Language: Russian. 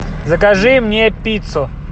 закажи мне пиццу